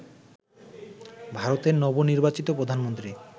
ভারতের নবনির্বাচিত প্রধানমন্ত্রী